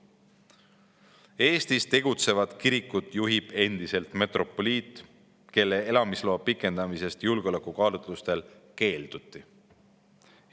Eestis tegutsevat kirikut juhib endiselt metropoliit, kelle elamisloa pikendamisest julgeolekukaalutlustel keelduti.